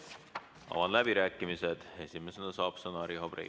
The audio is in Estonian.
Avan läbirääkimised ja esimesena saab sõna Riho Breivel.